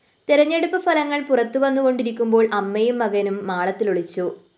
തെരഞ്ഞെടുപ്പ് ഫലങ്ങള്‍ പുറത്തുവന്നുകൊണ്ടിരിക്കുമ്പോള്‍ അമ്മയും മകനും മാളത്തിലൊളിച്ചു